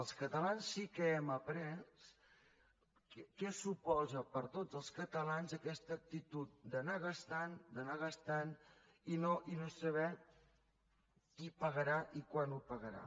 els catalans sí que hem après què suposa per a tots els catalans aquesta actitud d’anar gastant anar gastant i no saber qui pagarà ni quan ho pagarà